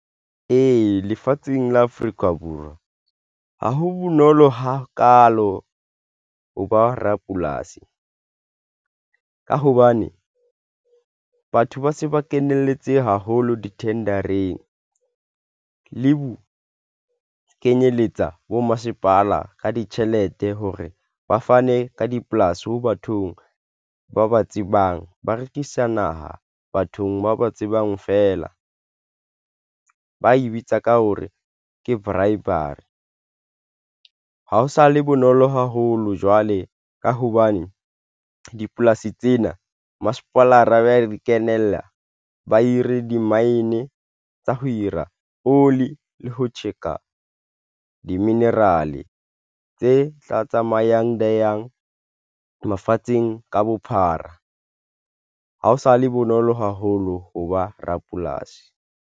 Ee, lefatsheng la Afrika Borwa ha ho bonolo hakaalo ho ba rapolasi ka hobane batho ba se ba kenelletse haholo di-tender-eng leho kenyeletsa bo masepala ka ditjhelete hore ba fane ka dipolasi ho bathong ba ba tsebang, ba rekisa naha bathong ba ba tsebang fela ba e bitsa ka hore ke bribery. Ha ho sa le bonolo haholo jwale ka hobane dipolasi tsena, masepala ba re kenella ba hire di-mine tsa ho ira oli le ho tjheka di-mineral e tse tla tsamayang di yang mafatsheng ka bophara. Ha o sa le bonolo haholo hoba rapolasi.